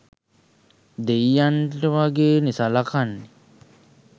දෙයියන්ට වගේනෙ සලකන්නේ.